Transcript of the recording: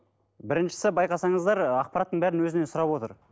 біріншісі байқасаңыздар ақпараттың бәрін өзінен сұрап отыр